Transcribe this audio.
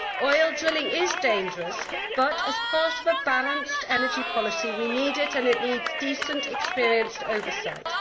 Oil drilling is dangerous, but as part of a balanced energy policy we need it, and it needs decent, experienced oversight.